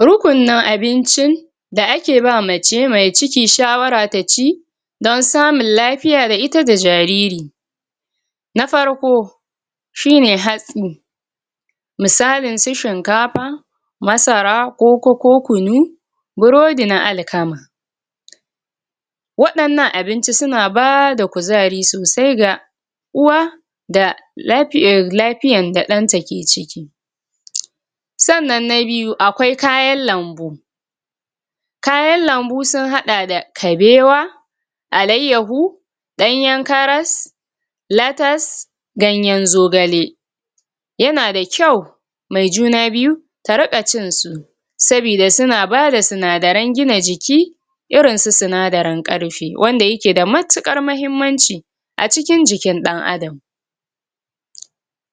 um Rukunnan abincin da ake ba mace mai ciki shawara ta ci don samun lafiya da ita da jariri na farko shine hatsi misalin su shinkafa masara koko ko kunu burodi na alkama um waɗannan abinci suna bada kuzari sosai ga uwa da lafiyan.. lafiyan da ɗanta ke ciki umm sannan na biyu akwai kayan lambu kayan lambu sun haɗa da kabewa, alayyahu, danyen karas, latas, ganyen zogale yana da kyau mai juna biyu ta riƙa cinsu sabida suna bada sinadaren gina jiki irin su sinadaren karfe, wanda yake da matukar mahimmanci a cikin jikin ɗan adam um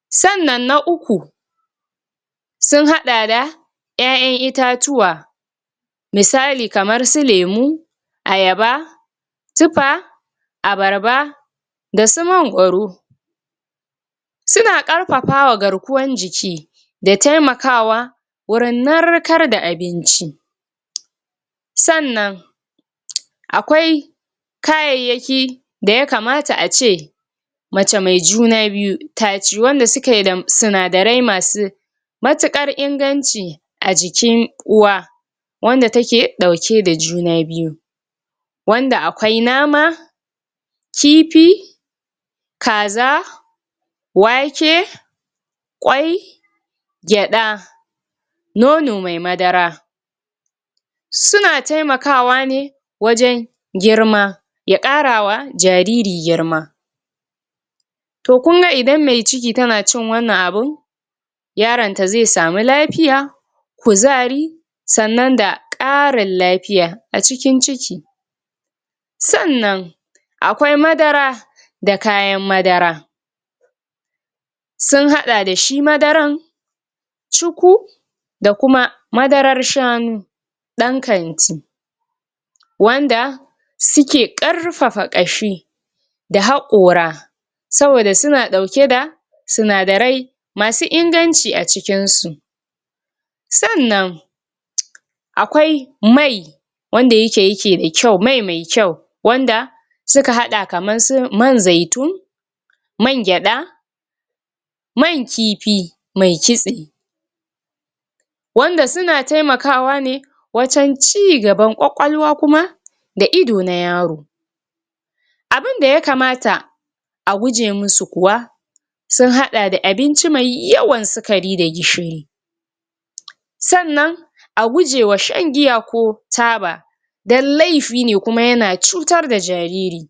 sannan na uku sun haɗa da ƴaƴan itatuwa misali kamar su lemu, ayaba, tufa abarba, da su mangwaro suna karfafawa garkuwan jiki da taimakawa wurin narkar da abinci um sannan um akwai kayayyaki da ya kamata a ce mace mai juna biyu taci wanda suke da sinadarai masu matukar inganci a jikin uwa wanda take ɗauke da juna biyu wanda akwai nama, kifi, kaza, wake, kwai gyaɗa nono mai madara suna temakawa ne wajen girma ya ƙarawa jariri girma to kunga idan me ciki tana cin wannan abun yaronta ze samu lafiya kuzari sannan da ƙarin lafiya a cikin ciki sannan akwai madara da kayan madara sun haɗa dashi madaran cuku da kuma madarar shanu ɗan kanti wanda suke karfafa ƙashi da hakora saboda suna ɗauke da sinadarai masu inganci a cikinsu sannan um akwai mai wanda yike yike da kyau.. mai me kyau wanda suka hada kaman su man zaitun man gyaɗa, man kifi mai kitse wanda suna taimakawa ne wajen ci gaban kwakwalwa kuma da ido na yaro abinda ya kamata a guje musu kuwa sun haɗa da abinci mai yawan sikari da gishiri um sannan a gujewa shan giya ko taba don laifi ne, kuma yana cutar da jariri pause